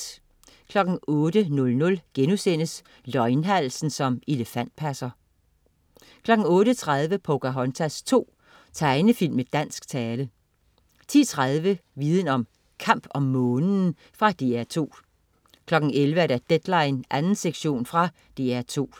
08.00 Løgnhalsen som elefantpasser* 08.30 Pocahontas 2. Tegnefilm med dansk tale 10.30 Viden om: Kamp om Månen. Fra DR 2 11.00 Deadline 2. sektion. Fra DR 2